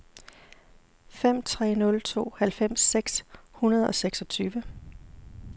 fem tre nul to halvfems seks hundrede og seksogtyve